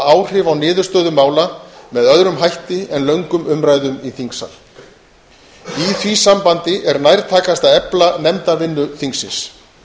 áhrif á niðurstöðu mála með öðrum hætti en löngum umræðum í þingsal í því sambandi er nærtækast að efla nefndavinnu þingsins